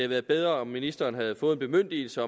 været bedre om ministeren havde fået en bemyndigelse